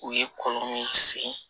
U ye kɔlɔn min sen